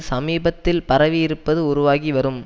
சமீபத்தில் பரவியிருப்பது உருவாகி வரும்